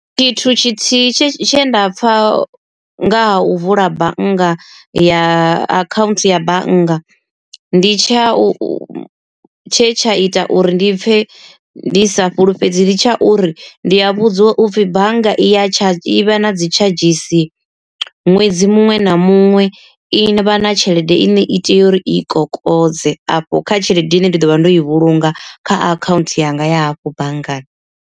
Tshithu tshithihi tshe tshe nda pfha nga ha u vula bannga ya akhaunthu ya bannga, ndi tsha u tshe tsha ita uri ndi pfhe ndi sa fhulufhedzi ndi tsha uri, ndi a vhudziwa upfhi bannga i ya tsha i vha na dzi tshadzhisi ṅwedzi muṅwe na muṅwe i vha na tshelede i ne i tea uri i kokodze afho kha tshelede ine nda ḓovha ndo i vhulunga kha akhaunthu yanga ya afho banngani.